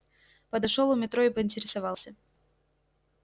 подошёл у метро и поинтересовался